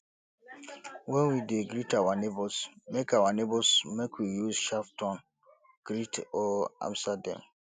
when we de greet our neighbours make our neighbours make we use sharp tone greet or answer dem